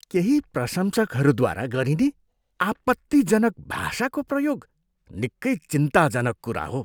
केही प्रशंसकहरूद्वारा गरिने आपत्तिजनक भाषाको प्रयोग निकै चिन्ताजनक कुरा हो।